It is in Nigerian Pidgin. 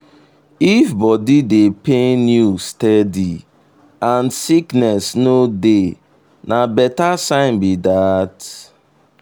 if body dey pain you steady and sickness no dey na better sign be that.